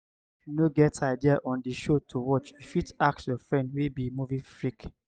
if you no get idea on di show to watch you fit ask your friend wey be movie freak